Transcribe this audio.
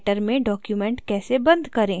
writer में document कैसे बंद करें